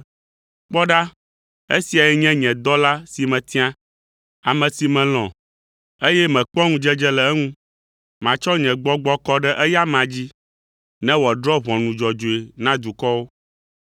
“Kpɔ ɖa esiae nye nye dɔla si metia, ame si melɔ̃ eye mekpɔa ŋudzedze le, matsɔ nye gbɔgbɔ kɔ ɖe eya amea dzi ne woadrɔ̃ ʋɔnu dzɔdzɔe na dukɔwo.